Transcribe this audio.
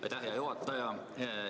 Aitäh, hea juhataja!